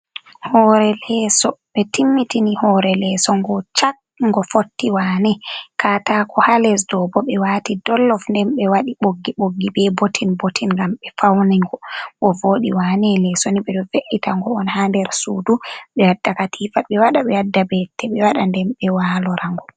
Hore leso ɓe timmitini hore leso ngo chat ngo fotti wane. Katako ha lesɗo bo ɓe wati dollof nden be waɗi ɓoggi ɓoggi be botin bottin ngam ɓe faunigo ngo voɗi wane. Leso ni ɓeɗo ve’ita ngo on ha nder sudu ɓe wadda katifa ɓe waɗa, ɓe wadda be'ite ɓe waɗa, nden ɓe walorango.